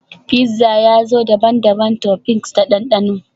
Fizza ya zo da daban-daban toppings da dandano